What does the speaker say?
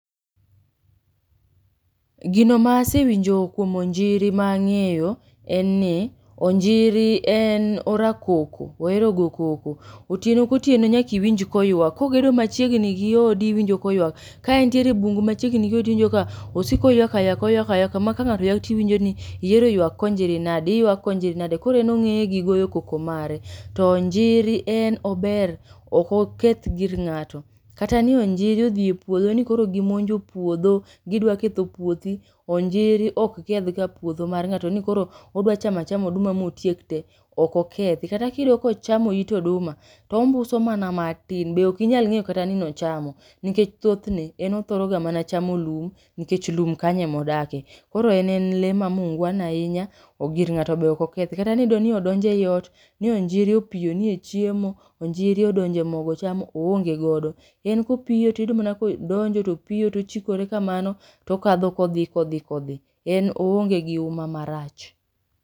Egino maa asewinjo kuom onjiri ma ang'eyo enni, onjiri en orakoko oero go koko. Otieno kotieno nyaka iwinj koywak kogedo machiegnigi odi iwinjo koywak. Ka entiere bungu machiegni gi odi iwinjo ka osiko oywak aywaka oywak aywaka ma ka ng'ato ywaka tiwinjoni iero ywak konjiri nade, iywaka konjiri nade koro en ong'eye gi goyokoko mare. To onjiri en ober ok oketh gir ng'ato kata ni onjiri ni odhie puodho ni koro gimonjo puodho gidwa ketho puothi. Onjiri ok kethga puodho mar ng'ato ni koro odwa chama achama oduma motiek te ok okethi. Kata kiyudoni kochamo it oduma to ombuso mana matin be ok inyalo ng'eyo kata ni ochamo nikech thotne en othoroga mana chamo lum nikech lum kanyo emo odake .Koro en en lee ma mungwana ainya gir ng'ato be ok okethi. Kata niyudoni odonje oot ni onjiro opiyoni echiemo onjiro odonje mogo chamo oonge godo. En kopiyo tiyudo mana kodonjo odonjo topiyo tochikore kamano tokadho kodhi kodhi kodhi en oongegi uma marach.